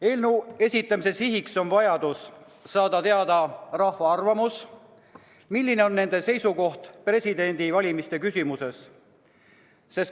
Eelnõu esitamise siht on saada teada rahva arvamus, milline on inimeste seisukoht presidendi valimise küsimuses.